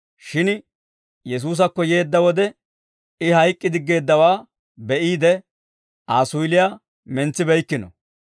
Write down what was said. Shin Yesuusakko yeedda wode I hayk'k'i diggeeddawaa be'iide, Aa suyiliyaa mentsibeykkino.